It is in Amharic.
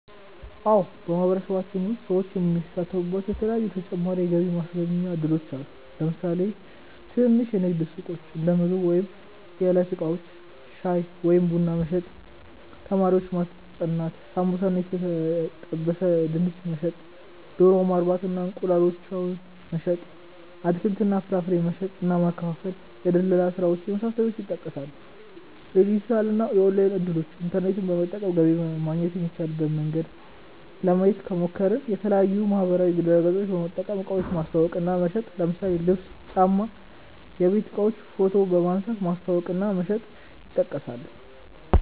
አዎ በማህበረሰባችን ውስጥ ሰዎች የሚሳተፉባቸዉ የተለያዪ ተጨማሪ የገቢ ማስገኛ እድሎች አሉ። ለምሳሌ ትንንሽ የንግድ ሱቆች(እንደምግብ ወይም የዕለት እቃዎች) ፣ ሻይ ወይም ቡና መሸጥ፣ ተማሪዎችን ማስጠናት፣ ሳምቡሳ እና የተጠበሰ ድንች መሸጥ፣ ዶሮ ማርባት እና እንቁላላቸውን መሸጥ፣ አትክልት እና ፍራፍሬ መሸጥ እና ማከፋፈል፣ የድለላ ስራዎች የመሳሰሉት ይጠቀሳሉ። የዲጂታል እና ኦንላይን እድሎችን( ኢንተርኔት በመጠቀም ገቢ ማግኘት የሚቻልበት መንገድ) ለማየት ከሞከርን፦ የተለያዪ ማህበራዊ ድረገፆችን በመጠቀም እቃዎችን ማስተዋወቅ እና መሸጥ ለምሳሌ ልብስ፣ ጫማ፣ የቤት እቃዎችን ፎቶ በመንሳት ማስተዋወቅ እና መሸጥ ይጠቀሳሉ።